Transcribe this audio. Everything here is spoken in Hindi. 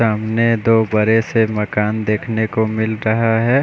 सामने दो बड़े से मकान देखने को मिल रहा है।